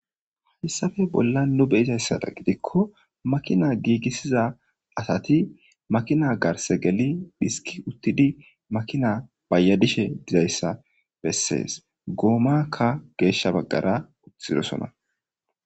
Haysape bolan nu be'idaysadan gidiko makina gigisiza asati makina garsa geli iski utidi makina bayadishe dizaysa beses gomaka gesha bagara kesirosona.